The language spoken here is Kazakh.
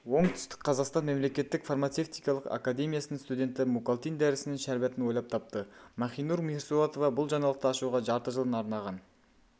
оңтүстік қазақстан мемлекеттік фармацевтикалық академиясының студенті мукалтин дәрісінің шәрбатын ойлап тапты махинур мирсоатова бұл жаңалықты ашуға жарты жылын арнаған